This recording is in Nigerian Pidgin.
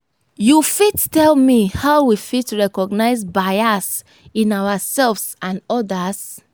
you fit tell me how we fit recognize bias in ourselves and odas?